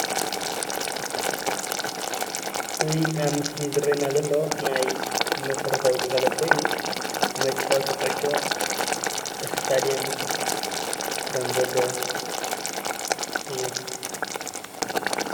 እዚ ኣብ ምስሊ ዝረኣየና ዘሎ ናይ መሰረታዊ ግልጋሎት ኮይኑ መጫወቲ ኩዕሾ እስታድየም ከምዘሎ እዩ።